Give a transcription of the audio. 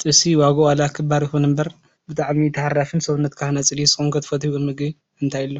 ጥብሲ ዋግኡ ዋላ ክባር ይኹን እምበር ብጣዕሚ ታሃራፊ ሰውነትካ ሃናፂን እዩ ዝኸውን ንስኹም ኸ ትፈትይዎ ምግቢ እንታይ አሎ?